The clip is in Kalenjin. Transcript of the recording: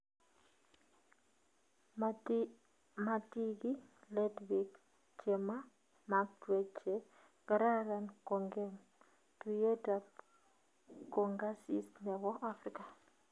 Matiki let bik chemamakwech che kararan kongem tuyet ap kongasis nebo Afrika